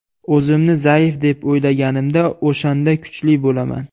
O‘zimni zaif deb o‘ylaganimda, o‘shanda kuchli bo‘laman.